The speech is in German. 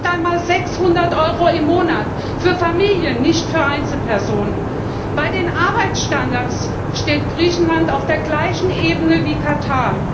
Das sind nicht einmal 600 Euro im Monat für Familien, nicht für Einzelpersonen! Bei den Arbeitsstandards steht Griechenland auf der gleichen Ebene wie